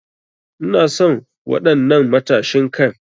Ina son wadan'nan matashin Kai.